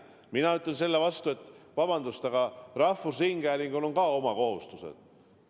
Mina ütlen vastu, et vabandust, aga ka rahvusringhäälingul on oma kohustused.